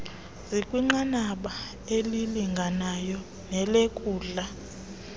zikwinqanaba elilinganayo nelenkundla